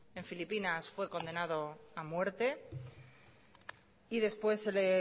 en filipinas fue condenado a muerte y después se le